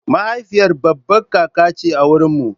Mahaifiyar baba kaka ce a wurinmu.